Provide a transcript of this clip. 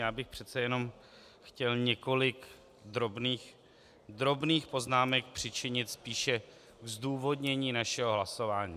Já bych přece jen chtěl několik drobných poznámek přičinit, spíše zdůvodnění našeho hlasování.